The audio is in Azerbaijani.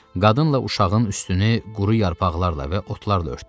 Qadınla uşağın üstünü quru yarpaqlarla və otlarla örtdü.